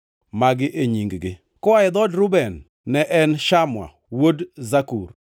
Magi e nying-gi, koa e dhood Reuben ne en Shamua wuod Zakur;